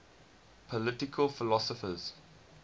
political philosophers